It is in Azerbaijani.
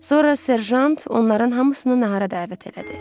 Sonra serjant onların hamısını nahara dəvət elədi.